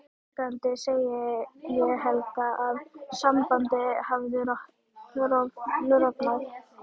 Afsakandi segi ég Helga að sambandið hafi rofnað.